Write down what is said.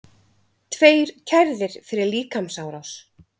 Tveir kærðir fyrir líkamsárás